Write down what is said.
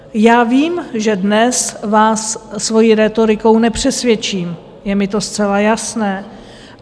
Já vím, že dnes vás svou rétorikou nepřesvědčím, je mi to zcela jasné.